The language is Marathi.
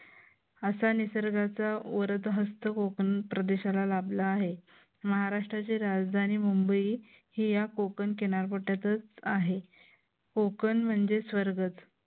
असा निसर्गाचा वर्द्धहस्त कोकण प्रदेशाला लाभला आहे. महाराष्ट्राची राजधानी मुंबई हे या कोकण किनारपट्ट्यातच आहे. कोकण म्हणजे स्वर्गच